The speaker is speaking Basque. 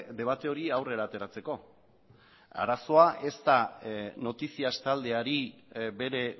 debate hori aurrera ateratzeko arazoa ez da noticias taldeari bere